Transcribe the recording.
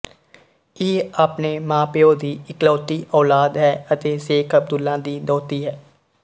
ਇਹ ਆਪਣੇ ਮਾਂਪਿਓ ਦੀ ਇਕਲੌਤੀ ਔਲਾਦ ਹੈ ਅਤੇ ਸ਼ੇਖ਼ ਅਬਦੁੱਲਾ ਦੀ ਦੋਹਤੀ ਹੈ